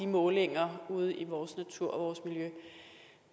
målinger ude i vores natur og vores miljø